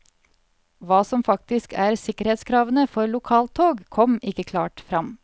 Hva som faktisk er sikkerhetskravene for lokaltog, kom ikke klart frem.